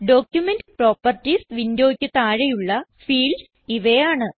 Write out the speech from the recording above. document properties വിൻഡോയ്ക്ക് താഴെയുള്ള fields ഇവയാണ്